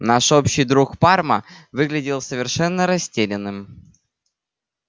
наш общий друг парма выглядел совершенно растерянным